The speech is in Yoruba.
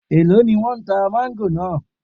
Èló ni wọ́n tá máńgò náà?